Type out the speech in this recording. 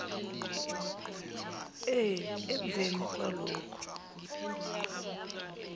e emveni kwalokhu